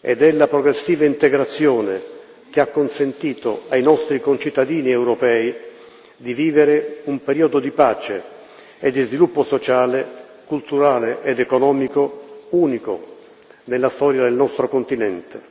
ed è la progressiva integrazione che ha consentito ai nostri concittadini europei di vivere un periodo di pace e di sviluppo sociale, culturale ed economico unico nella storia del nostro continente.